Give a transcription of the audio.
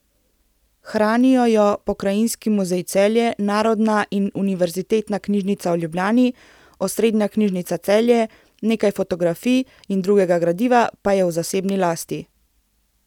Hranijo jo Pokrajinski muzej Celje, Narodna in Univerzitetna knjižnica v Ljubljani, Osrednja knjižnica Celje, nekaj fotografij in drugega gradiva pa je v zasebni lasti.